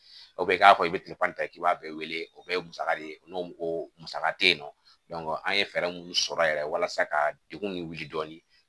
O bɛ k'a kɔ i bɛ ta k'i b'a wele o bɛɛ ye musaka de ye n'o ko musaka tɛ yen nɔ an ye fɛɛrɛ minnu sɔrɔ yɛrɛ walasa ka degun min wuli dɔɔni